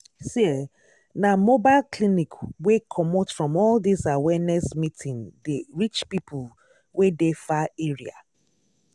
see eeh na mobile clinic wey comot from all this awareness meeting dey reach people wey dey far area.